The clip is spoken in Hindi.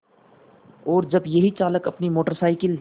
और जब यही चालक अपनी मोटर साइकिल